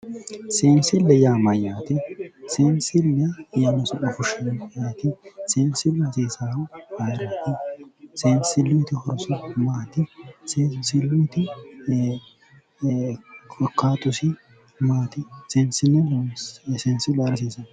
Sensile yaa maayate, sensile yaano su'ma fushihu ayeeti, sensilu hasiisahu ayeerati, sensilu horo maati, sensiluti korkaatisi maati, sensilu ayeera hasiisano